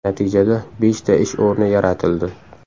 Natijada beshta ish o‘rni yaratildi.